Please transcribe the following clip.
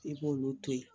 I b'olu to ye